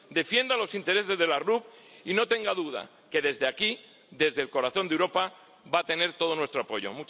Defienda los intereses de las RUP y no tenga duda de que, desde aquí, desde el corazón de Europa, va a tener todo nuestro apoyo.